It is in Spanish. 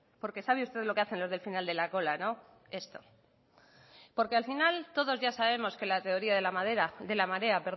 porque sabe usted lo que hacen los del final de la cola no esto porque al final todos ya sabemos que la teoría de la marea